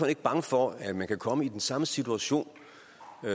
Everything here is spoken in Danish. ikke bange for at man kan komme i den samme situation